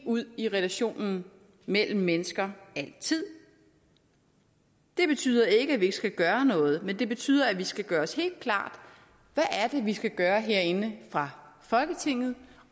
ud i relationen mellem mennesker altid det betyder ikke at vi ikke skal gøre noget men det betyder at vi skal gøre os helt klart hvad det er vi skal gøre herinde fra folketinget